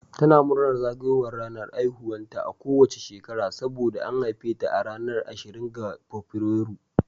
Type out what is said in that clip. Tana murnar zagayowar ranar haihuwarta a kowace shekara saboda an haife ta a ranar ashirin ga Fabrairu